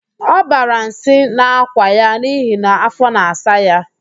Ọ bara nsị n'akwa ya n'ihi na afọ na-asa ya